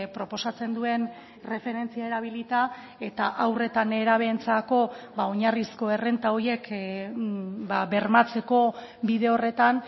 proposatzen duen erreferentzia erabilita eta haur eta nerabeentzako ba oinarrizko errenta horiek bermatzeko bide horretan